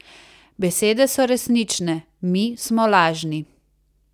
Besede so resnične, mi smo lažni.